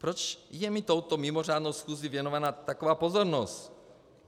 Proč je mi touto mimořádnou schůzí věnovaná taková pozornost?